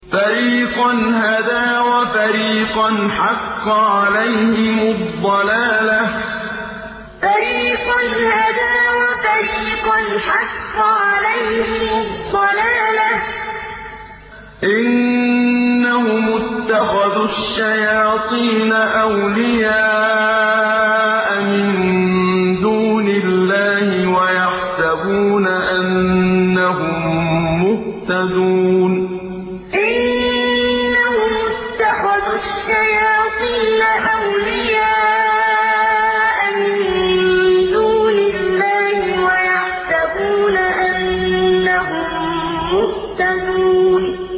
فَرِيقًا هَدَىٰ وَفَرِيقًا حَقَّ عَلَيْهِمُ الضَّلَالَةُ ۗ إِنَّهُمُ اتَّخَذُوا الشَّيَاطِينَ أَوْلِيَاءَ مِن دُونِ اللَّهِ وَيَحْسَبُونَ أَنَّهُم مُّهْتَدُونَ فَرِيقًا هَدَىٰ وَفَرِيقًا حَقَّ عَلَيْهِمُ الضَّلَالَةُ ۗ إِنَّهُمُ اتَّخَذُوا الشَّيَاطِينَ أَوْلِيَاءَ مِن دُونِ اللَّهِ وَيَحْسَبُونَ أَنَّهُم مُّهْتَدُونَ